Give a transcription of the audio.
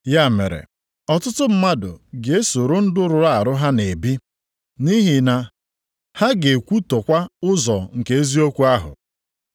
Ya mere, ọtụtụ mmadụ ga-esoro ndụ rụrụ arụ ha na-ebi, nʼihi ha ga-ekwutọkwa ụzọ nke eziokwu ahụ.